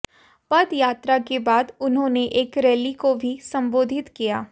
पदयात्रा के बाद उन्होंने एक रैली को भी संबोधित किया